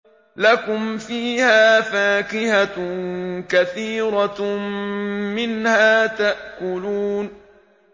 لَكُمْ فِيهَا فَاكِهَةٌ كَثِيرَةٌ مِّنْهَا تَأْكُلُونَ